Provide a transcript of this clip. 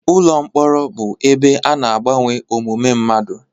Ụlọ mkpọrọ bụ ebe ana agbanwe omume mmadụ.